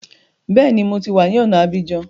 Bẹ́ẹ̀ni, mo ti wá ní ọ̀na Abidjan